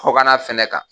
Kɔkanna fɛnɛ kan